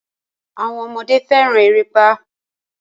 Àwọn ọmọdé fẹ́ràn erépá.